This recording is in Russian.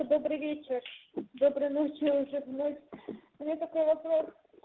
добрый вечер доброй ночи уже в ночь у меня такой вопрос